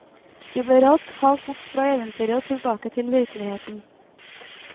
Vi ble raskt halt bort fra eventyret og tilbake til virkeligheten.